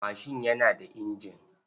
Mashin yana da injin.